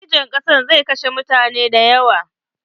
Girgijen ƙasan zai kashe mutane da yawo.